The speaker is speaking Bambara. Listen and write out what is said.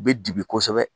U bɛ dibi kosɛbɛ